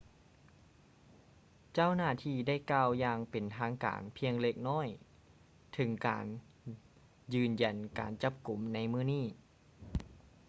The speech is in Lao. ເຈົ້າໜ້າທີ່ໄດ້ກ່າວຢ່າງເປັນທາງການພຽງເລັກນ້ອຍເຖິງການຢືນຢັນການຈັບກຸມໃນມື້ນີ້